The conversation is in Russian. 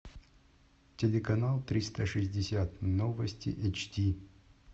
телеканал триста шестьдесят новости эйч ди